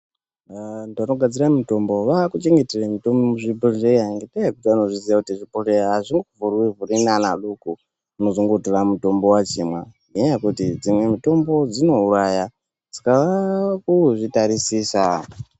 Vantu vanogadzira mutombo vakuchengetera mutombo muzvibhodhleya ngenda yekuti vanozviziva kuti zvibhodhleya azvingovhurwi vhurwi neana adoko unozongotora mutombo vachimwa ngenya yekuti dzimwe mutombo dzinouraya saka vakuzvitarisisa.